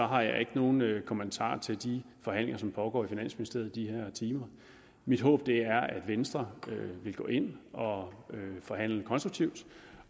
har jeg ikke nogen kommentarer til de forhandlinger som pågår i finansministeriet i de her timer mit håb er at venstre vil gå ind og forhandle konstruktivt